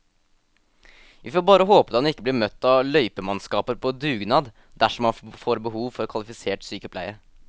Vi får bare håpe at han ikke blir møtt av løypemannskaper på dugnad dersom han får behov for kvalifisert sykepleie.